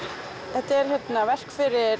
þetta er verk fyrir